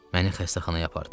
Məni xəstəxanaya apardılar.